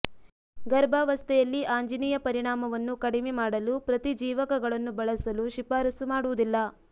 ಗರ್ಭಾವಸ್ಥೆಯಲ್ಲಿ ಆಂಜಿನಿಯ ಪರಿಣಾಮವನ್ನು ಕಡಿಮೆ ಮಾಡಲು ಪ್ರತಿಜೀವಕಗಳನ್ನು ಬಳಸಲು ಶಿಫಾರಸು ಮಾಡುವುದಿಲ್ಲ